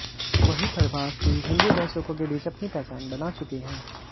वहीं प्रभास भी हिन्दी दर्शकों के बीच अपनी पहचान बना चुके हैं